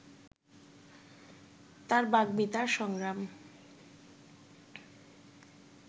তার বাগ্মিতা, সংগ্রাম